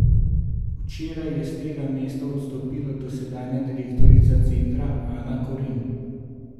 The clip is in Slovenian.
Včeraj je s tega mesta odstopila dosedanja direktorica centra Ana Koren.